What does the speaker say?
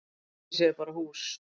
grafhýsi er bara hús